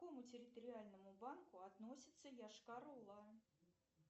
к какому территориальному банку относится йошкар ола